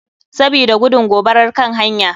Sabida gudun gobarar kan hanya.